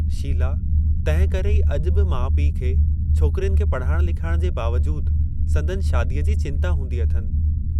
शीला तंहिं करे ई अज॒ बि माउ पिउ खे छोकरियुनि खे पढ़ाइणु लिखाइण जे बावजूदि संदनि शादीअ जी चिंता हूंदी अथनि।